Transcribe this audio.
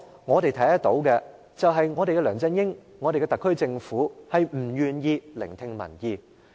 我們看得到的是，梁振英及特區政府均不願意聆聽民意。